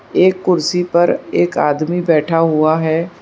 एक कुर्सी पर एक आदमी बैठा हुआ है।